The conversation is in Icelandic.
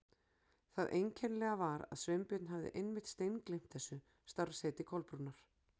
Það einkennilega var að Sveinbjörn hafði einmitt steingleymt þessu starfsheiti Kolbrúnar.